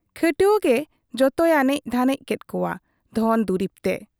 ᱠᱷᱟᱹᱴᱣᱟᱹ ᱜᱮ ᱡᱚᱛᱚᱭ ᱟᱱᱮᱡ ᱫᱷᱟᱱᱮᱡ ᱠᱮᱫ ᱠᱚᱣᱟ ᱫᱷᱚᱱ ᱫᱩᱨᱤᱵᱽ ᱛᱮ ᱾